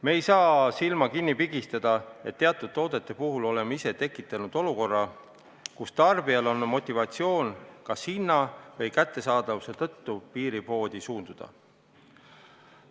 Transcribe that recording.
Me ei saa silma kinni pigistada, et teatud toodete puhul oleme ise tekitanud olukorra, kus tarbijal on motivatsioon kas hinna või kättesaadavuse tõttu piiripoodi suunduda.